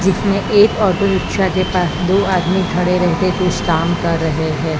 जिसमें एक auto rickshaw के पास दो आदमी खड़े रहते कुछ काम कर रहे हैं।